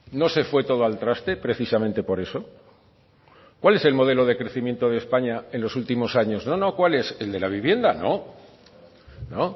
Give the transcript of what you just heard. no se fue todo al traste precisamente por eso cuál es el modelo de crecimiento de españa en los últimos años no no cuál es el de la vivienda no no